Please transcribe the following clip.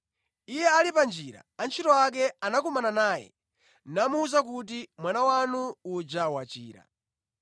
Iye ali pa njira, antchito ake anakumana naye, namuwuza kuti mwana wanu uja wachira.